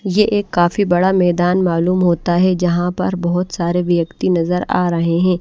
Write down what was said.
ये एक काफी बड़ा मैदान मालूम होता है। जहां पर बहोत सारे व्यक्ति नजर आ रहे है।